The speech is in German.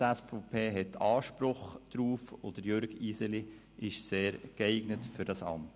Die SVP hat Anspruch darauf, und Jürg Iseli ist sehr geeignet für dieses Amt.